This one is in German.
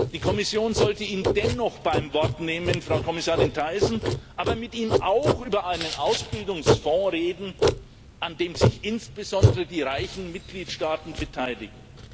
Die Kommission sollte ihn dennoch beim Wort nehmen, Frau Kommissarin Thyssen, mit ihm aber auch über einen Ausbildungsfonds reden, an dem sich insbesondere die reichen Mitgliedstaaten beteiligen.